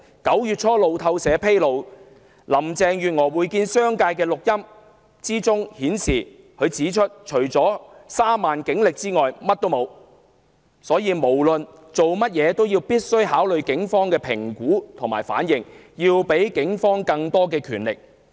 路透社9月初披露林鄭月娥會見商界的錄音內容，她在會面中表示自己除了3萬警力外甚麼都沒有，因此無論做甚麼都必須考慮警方的評估和反應，要給予警方更多權力。